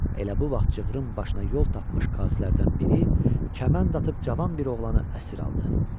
Elə bu vaxt cığırın başına yol tapmış qazilərdən biri kəmənd atıb cavan bir oğlanı əsir aldı.